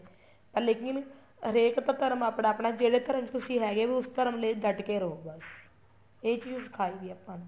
ਪਰ ਲੇਕਿਨ ਹਰੇਕ ਦਾ ਧਰਮ ਆਪਣਾ ਆਪਣਾ ਹੈ ਜਿਹੜੇ ਧਰਮ ਚ ਤੁਸੀਂ ਹੈਗੇ ਵੋ ਉਸ ਧਰਮ ਲਈ ਡੱਟ ਕੇ ਰਹੋ ਬੱਸ ਇਹੀ ਚੀਜ਼ ਸਿਖਾਈ ਗਈ ਹੈ ਆਪਾਂ ਨੂੰ